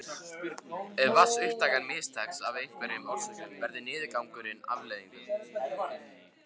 Ef vatnsupptakan mistekst af einhverjum orsökum verður niðurgangur afleiðingin.